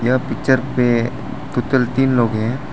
यह पिक्चर पे टोटल तीन लोग हैं।